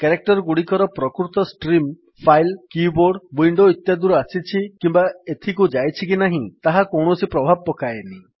character ଗୁଡିକର ପ୍ରକୃତ stream file keyboard window ଇତ୍ୟାଦିରୁ ଆସିଛି କିମ୍ୱା ଏଥିକୁ ଯାଇଛି କି ନାହିଁ ତାହା କୌଣସି ପ୍ରଭାବ ପକାଏନି